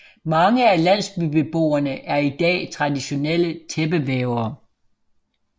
Mange af landsbybeboerne er i dag traditionelle tæppevævere